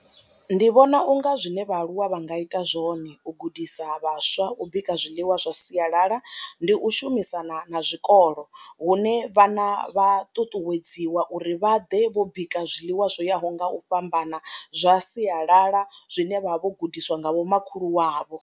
Ndi vhona u nga zwine vhaaluwa vha nga ita zwone u gudisa vhaswa u bika zwiḽiwa zwa sialala ndi u shumisana na zwikolo hune vhana vha ṱuṱuwedziwa uri vha ḓe vho bika zwiḽiwa zwo yaho nga u fhambana zwa sialala zwine vha vha vho gudiswa nga vhomakhulu wavho.